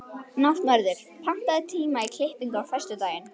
Náttmörður, pantaðu tíma í klippingu á föstudaginn.